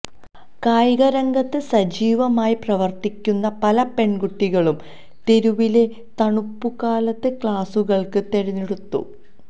കായിക രംഗത്ത് സജീവമായി പ്രവർത്തിക്കുന്ന പല പെൺകുട്ടികളും തെരുവിലെ തണുപ്പുകാലത്ത് ക്ലാസുകൾക്ക് തിരഞ്ഞെടുത്തു